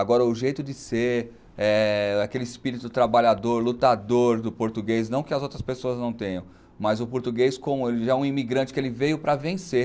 Agora, o jeito de ser, é aquele espírito trabalhador, lutador do português, não que as outras pessoas não tenham, mas o português, como ele já é um imigrante, que ele veio para vencer.